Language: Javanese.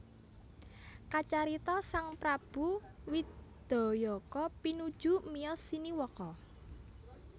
Kacarita sang prabu Widayaka pinuju miyos siniwaka